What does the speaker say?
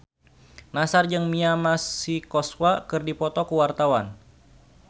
Nassar jeung Mia Masikowska keur dipoto ku wartawan